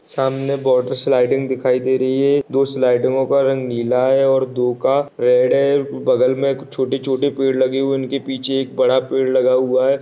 सामने water sliding दिखाई दे रही है। दो स्लाइडो का रंग नीला है दो का रेड है। बगल में छोटे-छोटे पेड़ लगे हुए इनके पीछे बड़ा पेड़ लगा हुआ है।